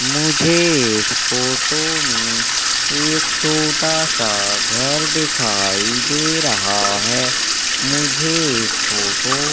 मुझे इस फोटो में एक छोटा सा घर दिखाई दे रहा है मुझे इस फोटो --